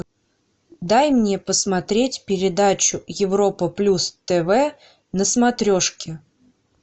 дай мне посмотреть передачу европа плюс тв на смотрешке